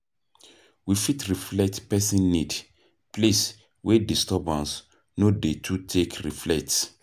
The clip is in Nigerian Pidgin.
To fit reflect person need place wey disturbance no dey to take reflect